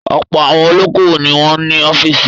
Ọ̀pọ̀ àwọn olókòwò ni wọ́n ní ọ́fíísì.